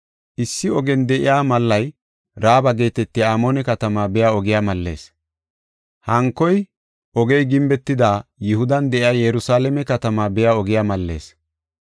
Issi ogiyan de7iya malla Raaba geetetiya Amoone katamaa biya ogiya mallees; hankoy ogey gimbetida Yihudan de7iya Yerusalaame katamaa biya ogiya mallees.